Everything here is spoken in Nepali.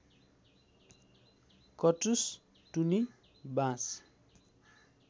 कटुस टुनी बाँस